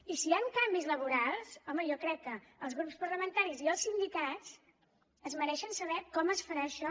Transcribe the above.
i si hi han canvis laborals home jo crec que els grups parlamentaris i els sindicats es mereixen saber com es farà això